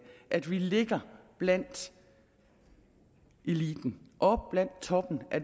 at vi ligger blandt eliten oppe blandt toppen af